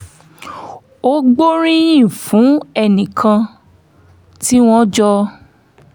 ó gbóríyìn fún ẹnì kan tí wọ́n jọ